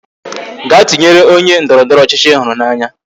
Gaa tụnyere onye ndọrọndọrọ ọchịchị Ị hụrụ n'anya